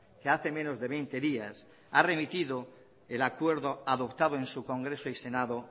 que hace menos de veinte días ha remitido el acuerdo adoptado en su congreso y senado